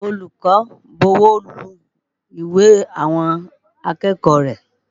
Olùkọ́ ń bọwọ́lu ìwé àwọn akẹ́kọ̀ọ́ rẹ̀.